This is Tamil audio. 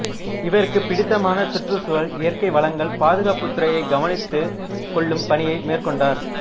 இவருக்குப் பிடித்தமான சுற்றுச் சூழல் இயற்கை வளங்கள் பாதுகாப்புத் துறையைக் கவனித்துக் கொள்ளும் பணியை மேற்கொண்டார்